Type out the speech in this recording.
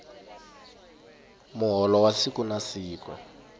muholo wa siku na siku